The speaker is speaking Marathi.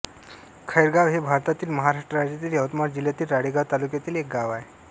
खैरगाव हे भारतातील महाराष्ट्र राज्यातील यवतमाळ जिल्ह्यातील राळेगांव तालुक्यातील एक गाव आहे